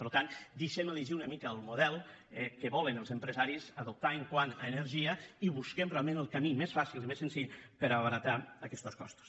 per tant deixem elegir una mica el model que volen els empresaris adoptar quant a energia i busquem realment el camí més fàcil i més senzill per abaratir aquestos costos